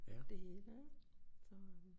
Det hele ik så